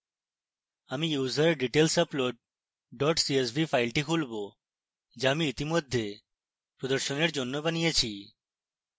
আমি userdetailsupoad csv file খুলবো যা আমি ইতিমধ্যে প্রদর্শনের জন্য বানিয়েছি